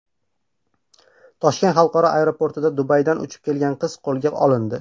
Toshkent xalqaro aeroportida Dubaydan uchib kelgan qiz qo‘lga olindi .